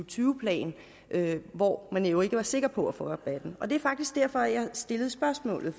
tyve plan hvor man jo ikke var sikker på at få rabatten det er faktisk derfor jeg har stillet spørgsmålet